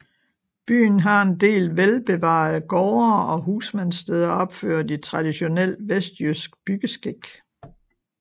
Byen har en del velbevarede gårde og husmandssteder opført i traditionel vestjysk byggeskik